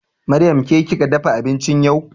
Maryam ke kika dafa abinci yau?